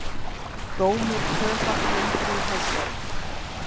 Dómur tvöfalt lengri í Hæstarétti